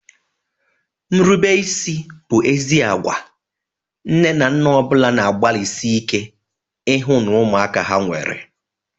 Nrubeisi bụ ezi agwa nne na nna ọ bụla na-agbalịsị ike ịhụ na ụmụaka ha nwere.